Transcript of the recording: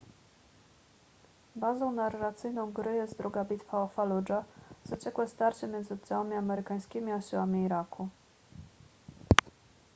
bazą narracyjną gry jest druga bitwa o faludżę zaciekłe starcie między oddziałami amerykańskimi a siłami iraku